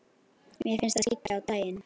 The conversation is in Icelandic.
Mér finnst það skyggja á daginn.